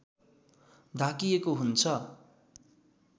ढाकिएको हुन्छ